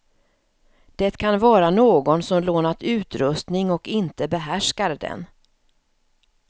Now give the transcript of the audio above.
Det kan vara någon som lånat utrustning och inte behärskar den.